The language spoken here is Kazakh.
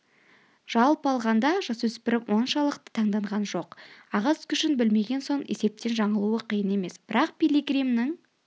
жалпы алғанда жасөспірім оншалықты таңданған жоқ ағыс күшін білмеген соң есептен жаңылуы қиын емес бірақ пилигримнің